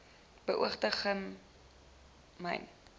beoogde gamsberg myn